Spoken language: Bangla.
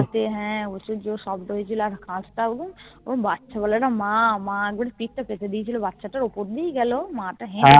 পাশে হ্যাঁ প্রচুর জোর শব্দ হয়েচিলো আর কাচ টাও ওই বাচ্চা বেলার একটা মা বাচ্চাটার ওপর দিয়েই গেলো মা তা